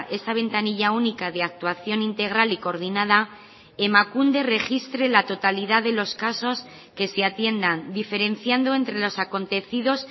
esa ventanilla única de actuación integral y coordinada emakunde registre la totalidad de los casos que se atiendan diferenciando entre los acontecidos